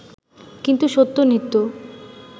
কিন্তু সত্য নিত্য